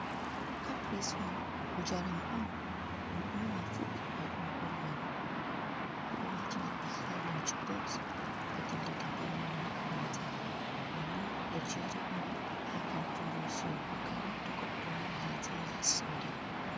Caprison njaram on ɗum ɓurna fu ɓikkoi on ɓuri yarugo, ɓedo watinaɓe ha lonch boks ɓe dillida be mai, makaranta ɗoni ɗo jeri on ha kantiru sorugo kare togoɗɗo ɗo mari ha'je yaha soda.